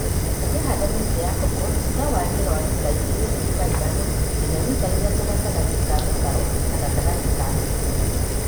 ũkĩhanda mĩtĩ ya koko tiga warie wa mita igĩrĩ turuma ithano nginya mita ithatũ gatagatĩ ka mĩkaro na gatagatĩ ka mĩtĩ.